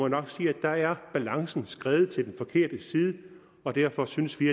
nok sige at der er balancen skredet til den forkerte side og derfor synes vi